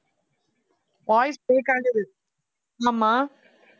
voice break ஆகுது ஆமா